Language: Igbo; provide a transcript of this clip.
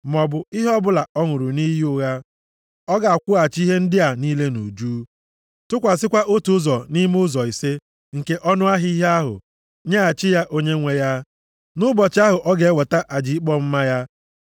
maọbụ ihe ọbụla ọ ṅụrụ nʼiyi ụgha. Ọ ga-akwụghachi ihe ndị a niile nʼuju, tụkwasịkwa otu ụzọ nʼime ụzọ ise + 6:5 \+xt Ọnụ 5:7\+xt* nke ọnụahịa ihe ahụ, nyeghachi ya onye nwe ya, nʼụbọchị ahụ ọ ga-eweta aja ikpe ọmụma ya.